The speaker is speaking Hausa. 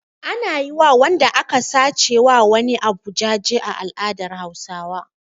Ana yi wa wanda aka sace wa wani abu jaje a al'adar Hausawa.